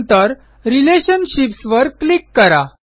नंतर रिलेशनशिप्स वर क्लिक करा